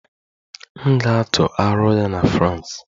M ga-atụ aro ya na France.